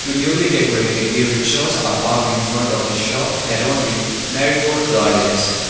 to newly decorated e rikshaws are parked infront of the shop adorned with marigold garlands.